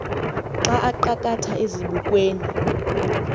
xa aqakatha ezibukweni